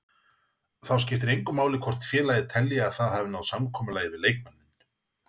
Þá skiptir engu máli hvort félagið telji að það hafi náð samkomulagi við leikmanninn.